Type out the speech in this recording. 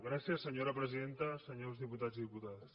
gràcies senyora presidenta senyors diputats i diputades